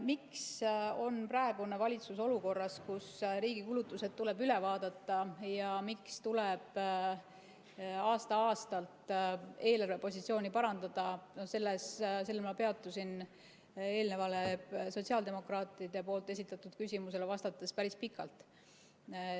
Miks on praegune valitsus olukorras, kus riigi kulutused tuleb üle vaadata, ja miks tuleb aasta-aastalt eelarvepositsiooni parandada, sellel ma peatusin eelnevale sotsiaaldemokraatide esitatud küsimusele vastates päris pikalt.